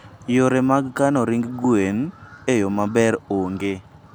Yore mag kano ring gwen e yo maber onge.